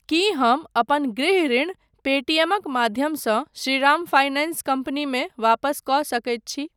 की हम अपन गृह ऋण पेटीएमक माध्यमसँ श्रीराम फाइनेंस कम्पनीमे वापस कऽ सकैत छी ?